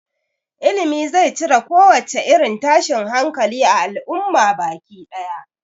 Ilimi zai cire kowace irin tashin hankali a al'umma baki ɗaya